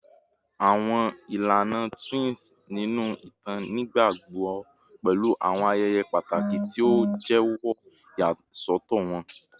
Awọn ilana twins ninu itan nigbagbogbo pẹlu awọn ayẹyẹ pataki ti o jẹwọ iyasọtọ wọn